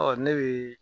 Ɔ ne be